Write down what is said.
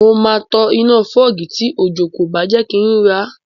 Mo máa tan iná fọ́gì tí òjò kò bá jẹ kí ń rí ra